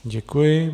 Děkuji.